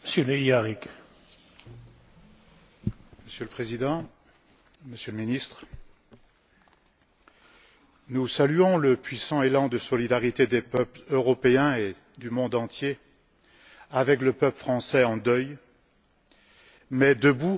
Monsieur le Président, Monsieur le Ministre, nous saluons le puissant élan de solidarité des peuples européens et du monde entier avec le peuple français en deuil, mais debout et déterminé face aux exécutions